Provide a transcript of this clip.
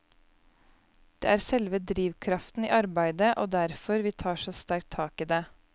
Det er selve drivkraften i arbeidet, og derfor vi tar så sterkt tak i det.